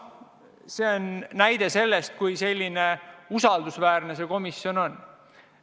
See on näide sellest, kui usaldusväärne see komisjon on.